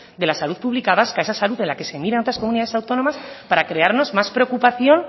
de la salud pública vasca esa salud en la que se miran otras comunidades autónomas para crearnos más preocupación